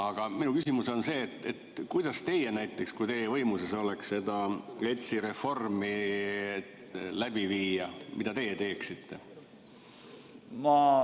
Aga minu küsimus on see: näiteks, kui teie võimuses oleks seda ETS-i reformi läbi viia, siis mida teie teeksite?